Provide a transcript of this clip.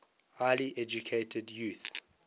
highly educated youth